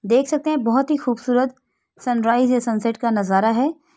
देख सकते हैं। बहुत ही खूबसूरत सनराइज या सनसेट का नजारा है।